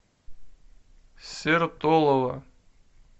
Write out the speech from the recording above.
сертолово